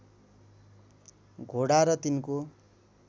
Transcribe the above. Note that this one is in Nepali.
घोडा र तिनको